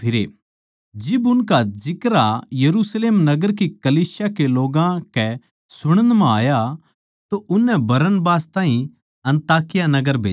जिब उनका जिक्रा यरुशलेम नगर की कलीसिया के लोग्गां कै सुणण म्ह आया तो उननै बरनबास ताहीं अन्ताकिया नगर भेज्या